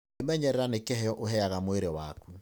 Kwĩmenyerera nĩ kĩheo ũheaga mwĩrĩ waku.